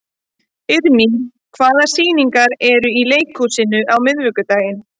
Irmý, hvaða sýningar eru í leikhúsinu á miðvikudaginn?